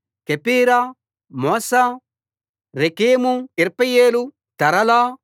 Chephirah Mozah Rekem Irpeel తరలా